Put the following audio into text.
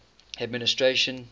administration